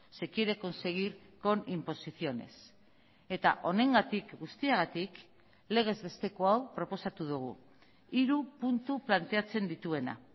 se quiere conseguir con imposiciones eta honengatik guztiagatik legez besteko hau proposatu dugu hiru puntu planteatzen dituena